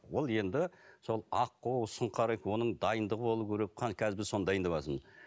ол енді сол аққу сұңқар оның дайындығы болуы керек қазір біз соны дайындаватырмыз